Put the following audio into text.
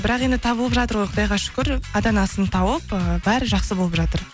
бірақ енді табылып жатыр ғой құдайға шүкір ата анасын тауып ыыы бәрі жақсы болып жатыр